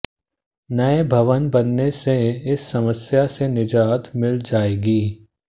नए भवन बनने से इस समस्या से निजात मिल जाएगी